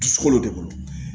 Dusukolo de bolo